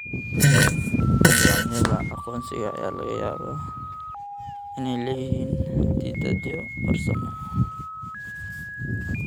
Nidaamyada aqoonsiga ayaa laga yaabaa inay leeyihiin xaddidaadyo farsamo.